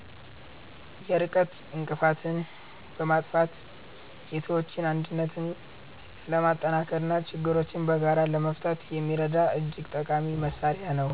የርቀት እንቅፋትን በማጥፋት የሰዎችን አንድነት ለማጠናከርና ችግሮችን በጋራ ለመፍታት የሚረዳ እጅግ ጠቃሚ መሣሪያ ነው።